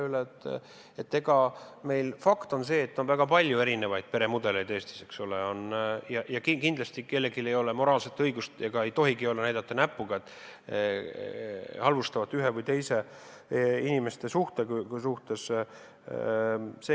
Fakt on see, et Eestis on väga palju erinevaid peremudeleid ja kindlasti ei ole kellelgi moraalset õigust – ega tohigi olla – näidata näpuga halvustavalt ühe või teise inimestevahelise suhte peale.